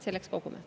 Selleks kogume.